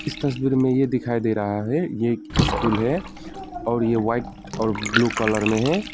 इस तस्वीर में ये दिखाई दे रहा है ये एक स्कूल है और ये वाइट और ब्लू कलर में है।